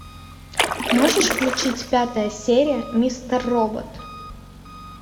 можешь включить пятая серия мистер робот